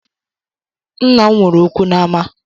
Nna m nwere okwu n’ama